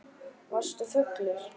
Varstu fullur?